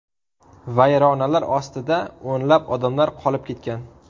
Vayronalar ostida o‘nlab odamlar qolib ketgan.